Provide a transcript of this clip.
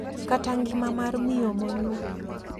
Kata ngima mar miyo monyuol.